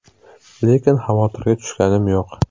Lekin xavotirga tushganim yo‘q.